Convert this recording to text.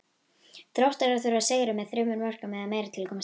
Þróttarar þurfa að sigra með þremur mörkum eða meira til að komast áfram.